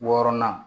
Wɔɔrɔnan